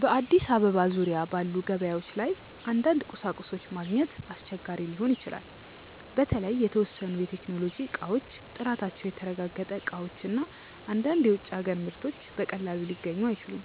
በአዲስ አበባ ዙሪያ ባሉ ገበያዎች ላይ አንዳንድ ቁሳቁሶች ማግኘት አስቸጋሪ ሊሆን ይችላል። በተለይ የተወሰኑ የቴክኖሎጂ እቃዎች፣ ጥራታቸው የተረጋገጠ እቃዎች እና አንዳንድ የውጭ አገር ምርቶች በቀላሉ ሊገኙ አይችሉም።